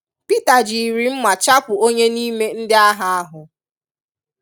Pita jịrị nma chapu onye n'ime ndi agha ahu.